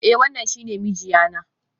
Eh, wannan shi ne mijiya na.